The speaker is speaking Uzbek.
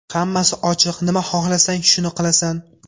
Hammasi ochiq, nima xohlasang, shuni qilasan.